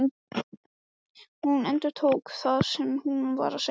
Hún endurtók það sem hún var að segja.